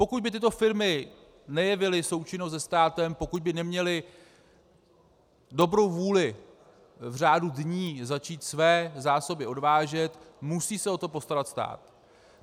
Pokud by tyto firmy nejevily součinnost se státem, pokud by neměly dobrou vůli v řádu dní začít své zásoby odvážet, musí se o to postarat stát.